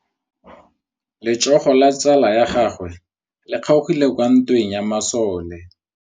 Letsôgô la tsala ya gagwe le kgaogile kwa ntweng ya masole.